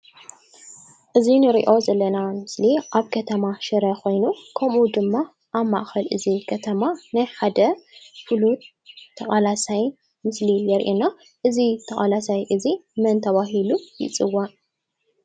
እዚ ንሪኦ ዘለና ምስሊ ኣብ ከተማ ሽረ ኾይኑ ከምኡ ድማ ኣብ ማእኸል እዚ ከተማ ናይ ሓደ ፍሉጥ ተቓላሳይ ምስሊ የሪአና። እዚ ተቓላሳይ እዙይ መን ተባሂሉ ይፅዋዕ?